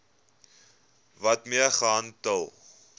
wet mee gehandel